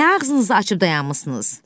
Nə ağzınızı açıb dayanmısınız?